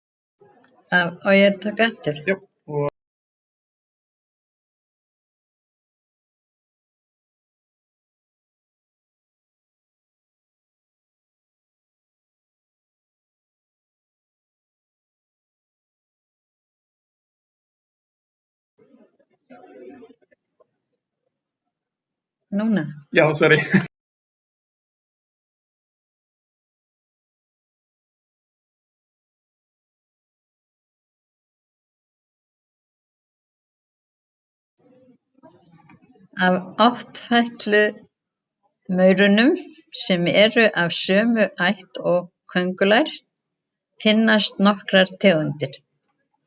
Af áttfætlumaurum, sem eru af sömu ætt og köngulær, finnast nokkrar tegundir.